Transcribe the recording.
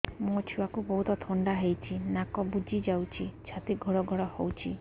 ମୋ ଛୁଆକୁ ବହୁତ ଥଣ୍ଡା ହେଇଚି ନାକ ବୁଜି ଯାଉଛି ଛାତି ଘଡ ଘଡ ହଉଚି